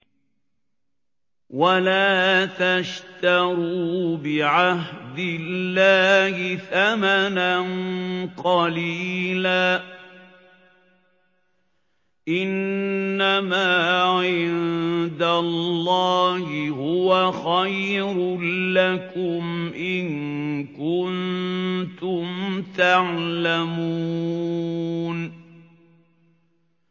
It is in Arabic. وَلَا تَشْتَرُوا بِعَهْدِ اللَّهِ ثَمَنًا قَلِيلًا ۚ إِنَّمَا عِندَ اللَّهِ هُوَ خَيْرٌ لَّكُمْ إِن كُنتُمْ تَعْلَمُونَ